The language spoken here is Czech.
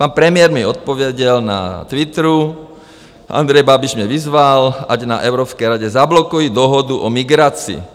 Pan premiér mi odpověděl na Twitteru: Andrej Babiš mě vyzval, ať na Evropské radě zablokuji dohodu o migraci.